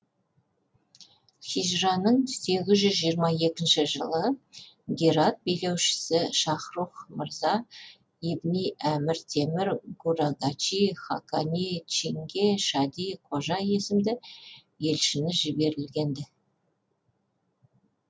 хижраның сегіз жүз жиырма екінші жылы герат билеушісі шахрух мырза ибни әмір темір гурагачи хақани чинге шади қожа есімді елшіні жіберілген ді